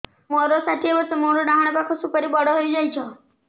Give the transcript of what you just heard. ମୋର ଷାଠିଏ ବର୍ଷ ମୋର ଡାହାଣ ପାଖ ସୁପାରୀ ବଡ ହୈ ଯାଇଛ